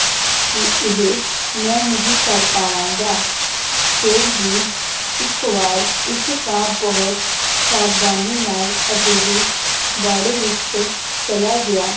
ਕਿ ਇਹ ਮੈ ਨਹੀ ਕਰ ਪਾਵਾਂਗਾ ਫੇਰ ਵੀ ਇਕ ਵਾਰ ਇੱਕ ਕਾਂ ਬਹੁਤ ਸਾਵਧਾਨੀ ਨਾਲ ਅਜਿਹੇ ਬਾੜੇ ਵਿਚ ਚਲਾ ਗਿਆ